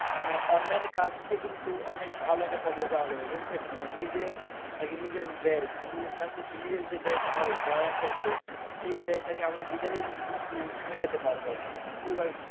মানে online এ কাজকে কিন্তু অনেক ভালো একটা পর্যায়ে যাওয়া যায় বুঝছেন? মানে নিজের আরকি নিজের ব্যয় নিজের কাছে নিজের যে ব্যয়টা হবে পড়ালেখা করতে, সেই ব্যয়টাকে আমরা নিজেরাই কিন্তু মেটাতে পারবো আরকি। পরিবার